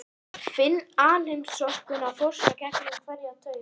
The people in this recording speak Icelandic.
Finn alheimsorkuna fossa gegnum hverja taug.